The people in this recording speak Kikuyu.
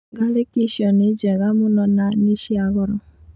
Ngarĩki icio nĩ njega mũno na nĩ cia goro